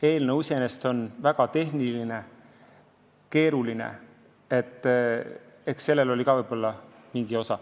Eelnõu iseenesest on väga tehniline ja keeruline, eks sellel oli ka võib-olla mingi osa.